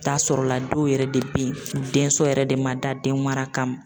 T'a sɔrɔla la dɔw yɛrɛ de bɛ yen u denso yɛrɛ de ma dan den mara kama.